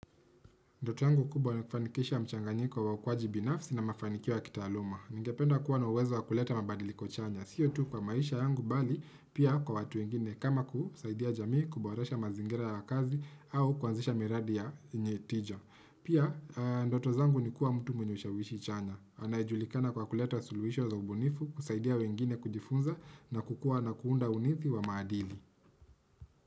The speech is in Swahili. Ndoto yangu kubwa ni kufanikisha mchanganyiko wa ukuaji binafsi na mafanikioya kitaaluma. Ningependa kuwa na uwezo wa kuleta mabadiliko chanya. Sio tu kwa maisha yangu bali pia kwa watu wengine kama kusaidia jamii kuboresha mazingira ya kazi au kuanzisha miradi yenyetija. Pia, ndoto zangu ni kuwa mtu mwenye ushawishi chanya. Anayejulikana kwa kuleta suluhisho za ubunifu, kusaidia wengine kujifunza na kukua na kuunda unithi wa maadili.